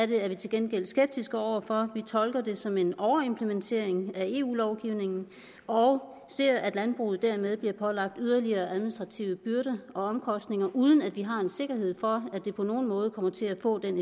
det er vi til gengæld skeptiske over for vi tolker det som en overimplementering af eu lovgivningen og ser at landbruget dermed bliver pålagt yderligere administrative byrder og omkostninger uden at vi har en sikkerhed for at det på nogen måde kommer til at få den